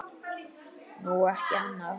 Nú, ekki annað.